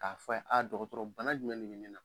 K'a fɔ a ye a dɔgɔtɔrɔ bana jumɛn de bɛ ne la?